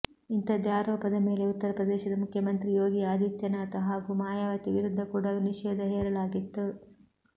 ಇಂಥದ್ದೇ ಆರೋಪದ ಮೇಲೆ ಉತ್ತರಪ್ರದೇಶದ ಮುಖ್ಯಮಂತ್ರಿ ಯೋಗಿ ಆದಿತ್ಯನಾಥ್ ಹಾಗೂ ಮಾಯಾವತಿ ವಿರುದ್ಧ ಕೂಡ ನಿಷೇಧ ಹೇರಲಾಗಿತ್ತು